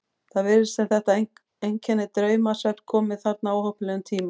Það virðist sem þetta einkenni draumsvefns komi þarna á óheppilegum tíma.